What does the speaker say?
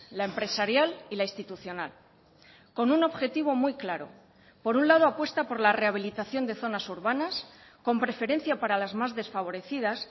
la empresarial y la institucional con un objetivo muy claro por un lado apuesta por la rehabilitación de zonas urbanas con preferencia para las más desfavorecidas